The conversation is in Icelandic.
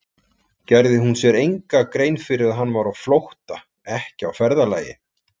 Gerði hún sér enga grein fyrir að hann var á flótta, ekki á ferðalagi?